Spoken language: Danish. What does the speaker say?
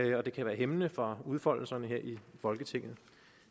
det kan være hæmmende for udfoldelserne her i folketinget